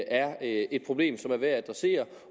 er et problem som er værd at adressere